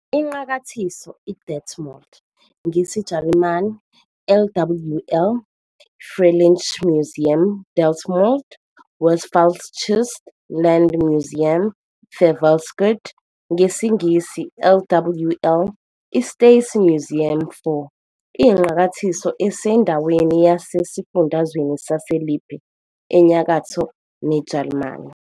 INqakathiso iDetmold, NGesiJalimane- LWL-Freilichtmuseum Detmold - Westfälisches Landesmuseum für Volkskunde, ngesiNgisi- "LWL - I- State Museum for", iyiNqakathiso esendaweni yase esifundeni sase-Lippe eNyakatho ne-, eJalimane.